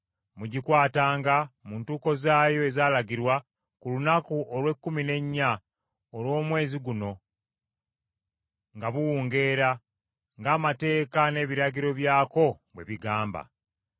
Mugikwatanga mu ntuuko zaayo ezaalagirwa ku lunaku olw’ekkumi n’ennya olw’omwezi guno nga buwungeera, ng’amateeka n’ebiragiro byako bwe bigamba.”